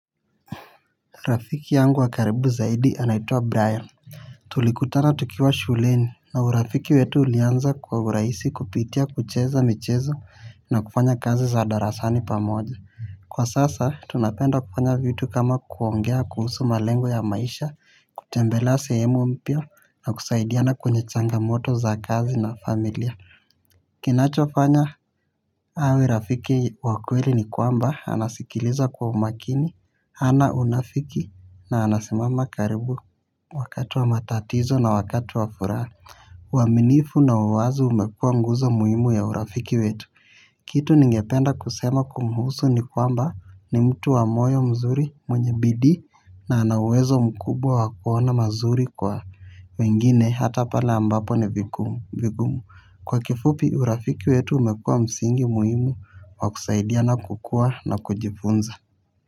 Rafiki yangu wa karibu zaidi anaitwa Brian. Tulikutana tukiwa shuleni na urafiki wetu ulianza kwa urahisi kupitia kucheza michezo na kufanya kazi za darasani pamoja. Kwa sasa tunapenda kufanya vitu kama kuongea kuhusu malengo ya maisha kutembelea sehemu mpya na kusaidiana kwenye changamoto za kazi na familia. Kinachofanya awe rafiki wa kweli ni kwamba, anasikiliza kwa umakini, hana unafiki na anasimama karibu wakati wa matatizo na wakati wa furaha uaminifu na uwazi umekuwa nguzo muhimu ya urafiki wetu. Kitu ningependa kusema kumhusu ni kwamba ni mtu wa moyo mzuri mwenye bidii na ana uwezo mkubwa wa kuona mazuri kwa wengine hata pale ambapo ni vigumu. Kwa kifupi urafiki wetu umekua msingi muhimu wa kusaidiana kukua na kujifunza.